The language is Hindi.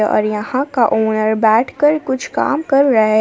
और यहां का ओनर बैठकर कुछ काम कर रहा है।